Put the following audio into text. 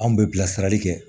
Anw bɛ bilasirali kɛ